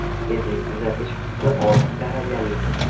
Tezlik uzatish qutisi olti darajali.